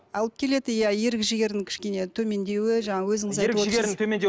алып келеді иә ерік жігердің кішкене төмендеуі